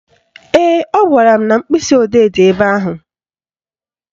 Ee, ọ gwara m na mkpịsịodee dị ebe ahụ